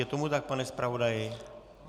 Je tomu tak, pane zpravodaji?